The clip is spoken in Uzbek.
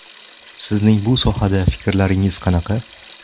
Sizning bu sohada fikrlaringiz qanaqa?